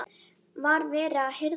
Var verið að hirða hann?